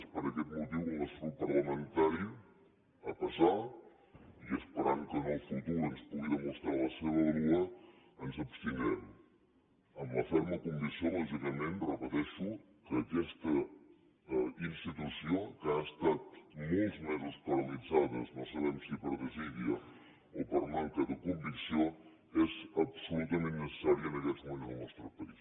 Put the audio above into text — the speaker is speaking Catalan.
és per aquest motiu que el nostre grup parlamentari a pesar i esperant que en el futur ens pugui demostrar la seva vàlua ens abstindrem amb la ferma convicció lògicament i ho repeteixo que aquesta institució que ha estat molts mesos paralitzada no sabem si per desídia o per manca de convicció és absolutament necessària en aquests moments en el nostre país